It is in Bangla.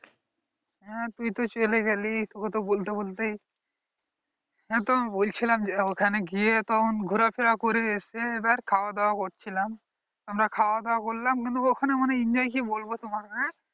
আহ তুই তো চলে গেলি, তোকে তো বলতে বলতেই বলছিলাম যে ওখানে গিয়ে ঘোরাফেরা করে খাওয়া দাওয়া করছিলাম আমরা খাওয়া দাওয়া করলাম কিন্তু ওখানে অনেক enjoy কি বলছে তোমাকে